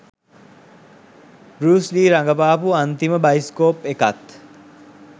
බෲස් Lee රඟපාපු අන්තිම bioscope එකත්